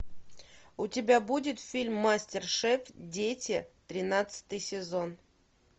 у тебя будет фильм мастер шеф дети тринадцатый сезон